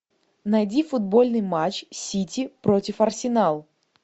найди футбольный матч сити против арсенал